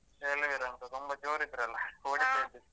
ಅಲ್ವೇರ ಅಂತ ತುಂಬ ಜೋರಿದ್ರಲ್ಲ .